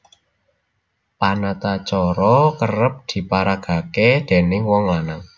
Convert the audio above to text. Panatacara kerep diparagakaké dèning wong lanang